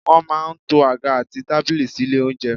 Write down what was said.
Wọ́n má a n to àga àti tábìlì sílé oúnjẹ